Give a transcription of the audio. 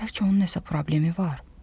Bəlkə onun nəsə problemi var?